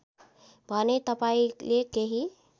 भने तपाईँले केही